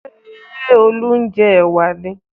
Ṣé Olú ń jẹ ẹ̀wà ni?